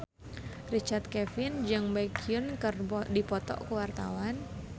Richard Kevin jeung Baekhyun keur dipoto ku wartawan